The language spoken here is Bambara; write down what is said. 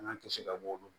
An ka kisi ka bɔ olu